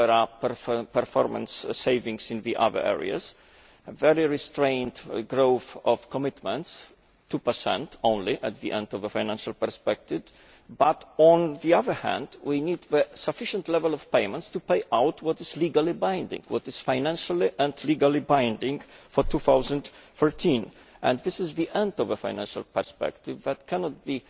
there are performance savings in the other areas, very restrained growth of commitment, 2 only at the end of the financial perspective but, on the other hand, we need a sufficient level of payments to pay out what is legally binding what is financially and legally binding for 2013 and this is the end of the financial perspective that cannot come